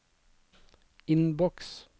innboks